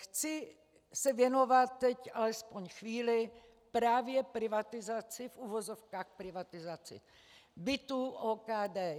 Chci se věnovat teď, alespoň chvíli, právě privatizaci, v uvozovkách privatizaci, bytů OKD.